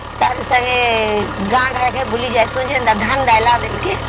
ତାର ସଂଗେ ଗାଁ ଗାଁ କେ ବୁଲି ଯୀଶୁ କେ ଧାନ ଦେଲା